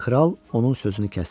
Kral onun sözünü kəsdi.